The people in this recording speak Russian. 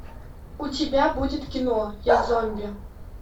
у тебя будет кино я зомби